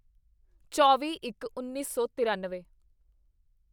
ਚੌਵੀਇੱਕਉੱਨੀ ਸੌ ਤਰਾਨਵੇਂ